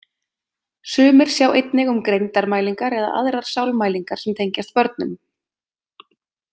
Sumir sjá einnig um greindarmælingar eða aðrar sálmælingar sem tengjast börnum.